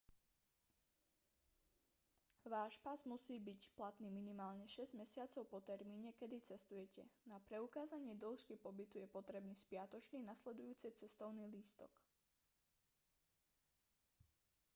váš pas musí byť platný minimálne 6 mesiacov po termíne kedy cestujete. na preukázanie dĺžky pobytu je potrebný spiatočný/nasledujúci cestovný lístok